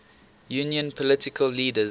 union political leaders